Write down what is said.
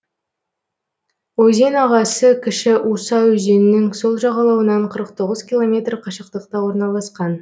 өзен ағасы кіші уса өзенінің сол жағалауынан қырық тоғыз километр қашықтықта орналасқан